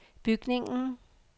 bygningen